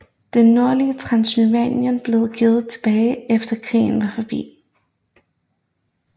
Det nordlige Transsylvanien blev givet tilbage efter krigen var forbi